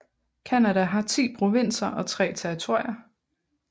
Canada har 10 provinser og 3 territorier